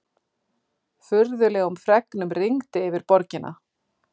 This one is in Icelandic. Furðulegum fregnum rigndi yfir borgina.